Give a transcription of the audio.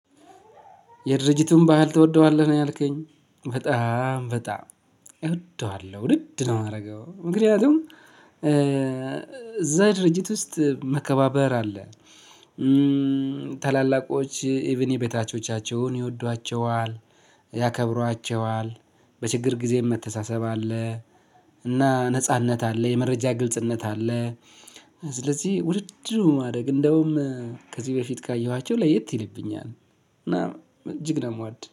የድርጅቱን ባህል ትወደዋለህ ነው ያልከኝ በጣም በጣም እወደዋለሁ ውድድ ነው የማደርገው ምክንያቱም እዛ ድርጅት ውስጥ መከባበር አለ። ታላላቆች ኢቭን የበታቾቻቸውን ይወዷቸዋል ያከብሯቸዋል። በችግር ጊዜም መተሳሰብ አለ። እና ነጻነት አለ የመረጃ ግልጽነት አለ። ስለዚህ ውድድ ነው ማደርግ እንደውም ከዚህ በፊት ካየኋቸው ለየት ይልብኛል። እና እጅግ ነው የምወድ